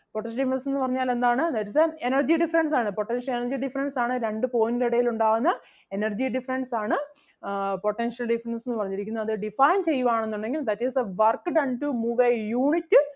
potential difference എന്ന് പറഞ്ഞാൽ എന്താണ് that is the energy difference ആണ് potential energy difference ആണ് രണ്ടു point ന് എടയിലുണ്ടാവുന്ന energy difference ആണ് ആഹ് potential difference എന്ന് പറഞ്ഞിരിക്കുന്നത്. അത് define ചെയ്യുവാണെന്നുണ്ടെങ്കിൽ that is the work done to move a unit